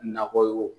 Nakɔ ye